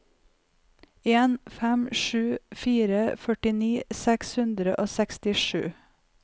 en fem sju fire førtini seks hundre og sekstisju